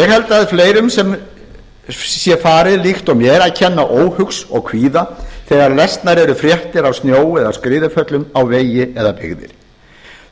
ég held að fleirum sé farið líkt og mér að kenna óhug og kvíða þegar lesnar eru fréttir af snjó eða skriðuföllum á vegi eða byggðir